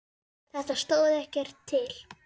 Þetta stóð ekkert til.